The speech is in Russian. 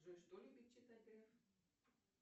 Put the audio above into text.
джой что любит читать греф